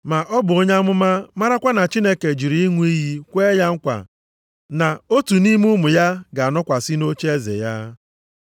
Ma ọ bụ onye amụma marakwa na Chineke jiri ịṅụ iyi kwee ya nkwa na otu nʼime ụmụ ya ga-anọkwasị nʼocheeze ya.